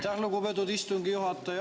Aitäh, lugupeetud istungi juhataja!